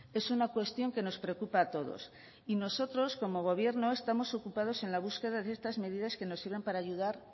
es una cuestión que nos preocupa a todos y nosotros como gobierno estamos ocupados en la búsqueda de estas medidas que nos sirvan para ayudar